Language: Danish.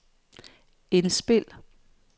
indspil